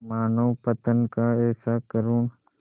मानवपतन का ऐसा करुण